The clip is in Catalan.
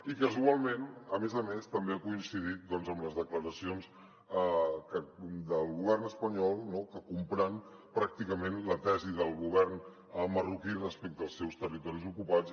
i casualment a més a més també ha coincidit amb les declaracions del govern espanyol no comprant pràcticament la tesi del govern marroquí respecte als seus territoris ocupats